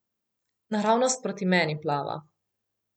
Naravnost proti meni plava.